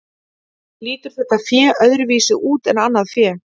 Lítur þetta fé öðruvísi út en annað fé?